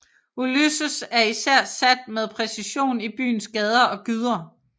Ulysses er især sat med præcision i byens gader og gyder